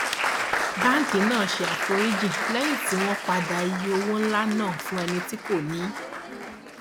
báńkì náà ṣe àforíjì lẹyìn tí wọn padà iye owó ńlá náà fún ẹni tí kò níí